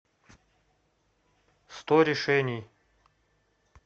сто решений